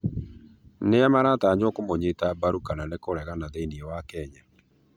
Nĩa maratanywo kũmunyĩta mbaru kana kũregana thĩini wa Kenya